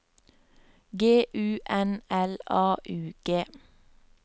G U N L A U G